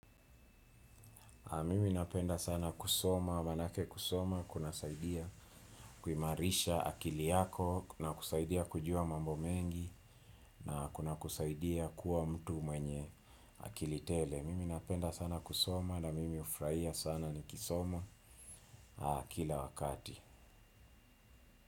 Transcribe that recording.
Mimi napenda sana kusoma, maanake kusoma, kunasaidia kuimarisha akili yako na kusaidia kujua mambo mengi na kuna kusaidia kuwa mtu mwenye akili tele. Mimi napenda sana kusoma na mimi hufurahia sana nikisoma kila wakati.